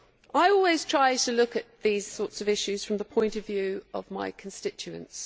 I always try to look at this sort of issue from the point of view of my constituents.